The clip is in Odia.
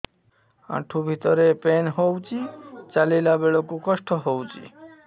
ଆଣ୍ଠୁ ଭିତରେ ପେନ୍ ହଉଚି ଚାଲିଲା ବେଳକୁ କଷ୍ଟ ହଉଚି